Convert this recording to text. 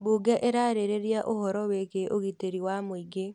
Bunge ĩrarĩrĩria ũhoro wĩgiĩ ũgitĩri wa mũingĩ